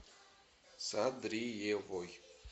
садриевой